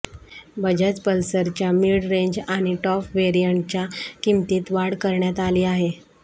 बजाज पल्सरच्या mid range आणि top व्हेरियंटच्या किंमतीत वाढ करण्यात आली आहे